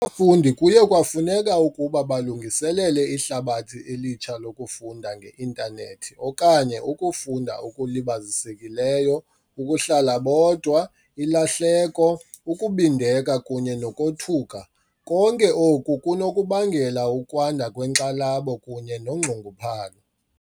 Abafundi kuye kwafuneka ukuba balungiselele ihlabathi elitsha lokufunda nge-intanethi okanye ukufunda okulibazisekileyo, ukuhlala bodwa, ilahleko, ukubindeka kunye nokothuka, konke oku kunokubangela ukwanda kwenkxalabo kunye nonxunguphalo.